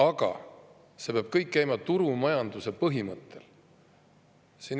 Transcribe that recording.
Aga see peab kõik käima turumajanduse põhimõttel.